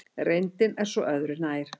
Reyndin er svo öðru nær.